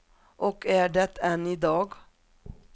Och är det än i dag.